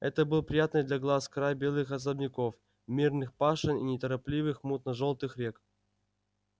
это был приятный для глаз край белых особняков мирных пашен и неторопливых мутно-жёлтых рек